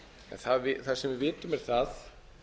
það sem við vitum er það